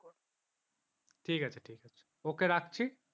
ঠিক আছে ঠিক আছে okay রাখছি